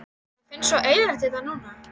Mér finnst svo eyðilegt hérna núna.